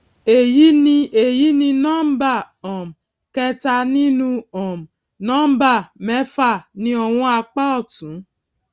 èyí ni èyí ni nọmbà um kẹta nínú um nọmbà mẹfà ní ọwọn apá òtún